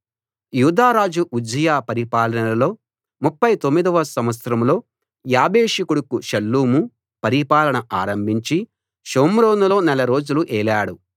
యూదారాజు Uzziah పరిపాలనలో 39 వ సంవత్సరంలో యాబేషు కొడుకు షల్లూము పరిపాలన ఆరంభించి షోమ్రోనులో నెల రోజులు ఏలాడు